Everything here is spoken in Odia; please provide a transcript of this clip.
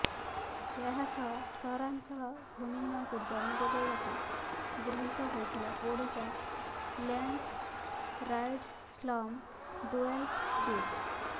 ଏହାସହ ସହାରାଞ୍ଚଳ ଭୂମିହୀନଙ୍କୁ ଜମି ଯୋଗାଇବାକୁ ଗୃହୀତ ହୋଇଥିଲା Odisha land rights slum dwellers bill